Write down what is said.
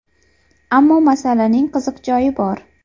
Ammo masalaning qiziq joyi bor.